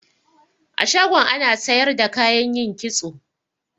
A shagon ana sayar da kayan yin kitso.